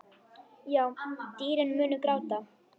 Já, dýrin munu gráta.